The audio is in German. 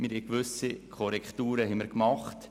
Auch haben wir gewisse Korrekturen vorgenommen.